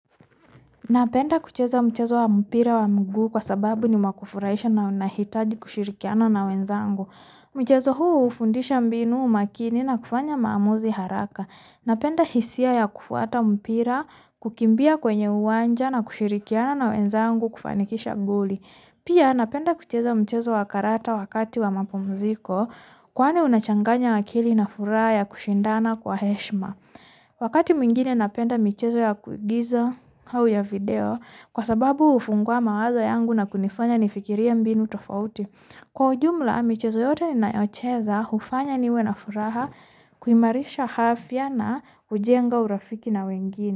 Na penda kucheza mchezo wa mpira wa mugu kwa sababu ni mwa kufurahisha na unahitadi kushirikiwana na wenzangu. Michezo huu fundisha mbinu umakini na kufanya maamuzi haraka. Na penda hisia ya kufuata mpira, kukimbia kwenye uwanja na kushirikiwana na wenzangu kufanikisha goli. Pia napenda kucheza mchezo wa karata wakati wamapumuziko. Kwani unachanganya akili na furaha ya kushindana kwa heshima. Wakati mwigine na penda michezo ya kuigiza au ya video kwa sababu hufungwa mawazo yangu na kunifanya ni fikiria mbinu tofauti. Kwa ujumla michezo yote ninayocheza hufanya niwena furaha kuimarisha afya na kujenga urafiki na wengine.